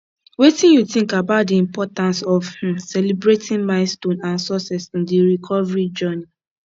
wetin you think about di importance of um celebrating milestones and successes in di recovery journey